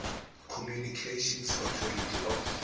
communications authority of